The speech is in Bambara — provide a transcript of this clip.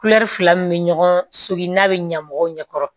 fila min bɛ ɲɔgɔn so in n'a bɛ ɲɛ mɔgɔw ɲɛ kɔrɔ